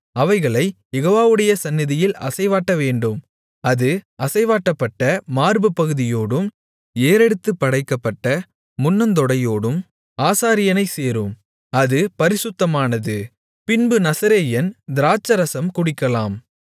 அவைகளைக் யெகோவாவுடைய சந்நிதியில் அசைவாட்டவேண்டும் அது அசைவாட்டப்பட்ட மார்புப்பகுதியோடும் ஏறெடுத்துப் படைக்கப்பட்ட முன்னந்தொடையோடும் ஆசாரியனைச் சேரும் அது பரிசுத்தமானது பின்பு நசரேயன் திராட்சைரசம் குடிக்கலாம்